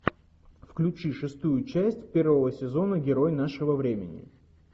включи шестую часть первого сезона герой нашего времени